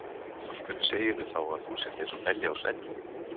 Af hverju segirðu þá að þú sért eins og belja á svelli?